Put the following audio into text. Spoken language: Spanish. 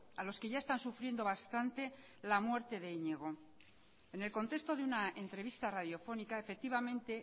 a los que ya están sufriendo bastante la muerte de iñigo en el contexto de una entrevista radiofónica efectivamente